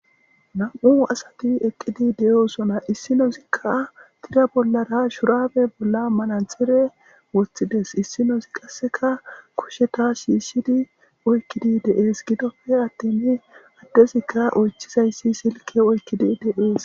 Nam'u asati eqqidi de7oosona issino zikka tira bollara shuraabe bolla manadxire woththides issinosi qasseka kusheta shiishidi oykkidi deees gidoppe attini addezikka oychizayssi silke oykkidi de'ees.